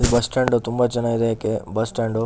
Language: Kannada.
ಬಸ್ ಸ್ಟ್ಯಾಂಡು ತುಂಬಾ ಚೆನ್ನಗಿದೆ ಏಕೆ ಬಸ್ ಸ್ಟ್ಯಾಂಡು .